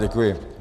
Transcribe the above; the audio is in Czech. Děkuji.